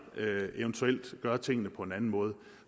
ved eventuelt at gøre tingene på en anden måde